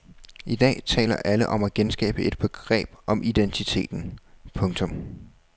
I dag taler alle om at genskabe et begreb om identiteten. punktum